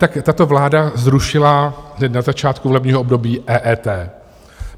Tak tato vláda zrušila hned na začátku volebního období EET.